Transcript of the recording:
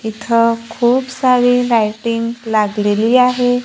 इथं खूप सारी लायटिंग लागलेली आहे.